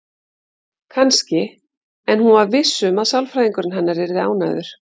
Kannski, en hún var viss um að sálfræðingurinn hennar yrði ánægður.